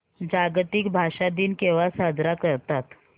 जागतिक भाषा दिन केव्हा साजरा करतात